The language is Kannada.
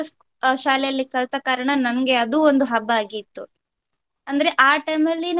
ಅಹ್ ಶಾಲೆಯಲ್ಲಿ ಕಲ್ತ ಕಾರಣ ನಂಗೆ ಅದು ಒಂದು ಹಬ್ಬ ಆಗಿತ್ತು. ಅಂದ್ರೆ ಆ time ಅಲ್ಲಿ ನಮ್ಗೆ.